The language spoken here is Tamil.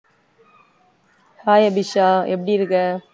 hi அபிஷா எப்டியிருக்க